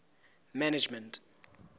management